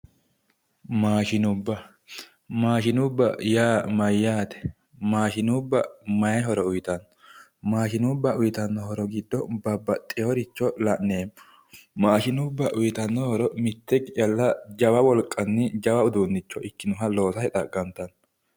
Maashinubba, maashinubba yaa mayate, maashinubba mayi horo uyittano ,maashinubba uyittano horo giddo babbaxitino horo la'neemmo, maashinu bba lowo wolqanni jawa uduunicho ikkinoha loosate xaqamittano